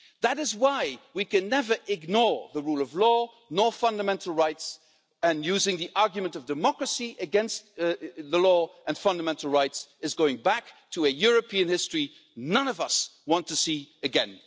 That is why we can never ignore the rule of law, nor fundamental rights, and using the argument of democracy against the law and fundamental rights is going back to a European history none of us want to see again.